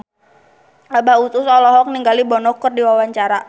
Abah Us Us olohok ningali Bono keur diwawancara